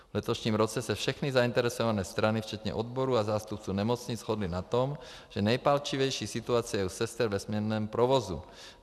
V letošním roce se všechny zainteresované strany včetně odborů a zástupců nemocnic shodly na tom, že nejpalčivější situace je u sester ve směnném provozu.